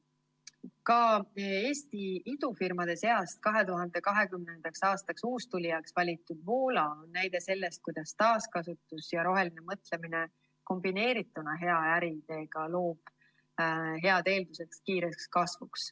Ka Eesti idufirmade seast 2020. aasta uustulijaks valitud Woola on näide selle kohta, kuidas taaskasutus ja roheline mõtlemine kombineerituna hea äriideega loob head eeldused kiireks kasvuks.